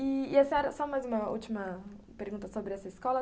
E a senhora, só mais uma última pergunta sobre essa escola.